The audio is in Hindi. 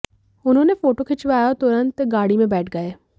उन्होंने फोटो खिंचवाया और तुरंत गाड़ी में बैठ गए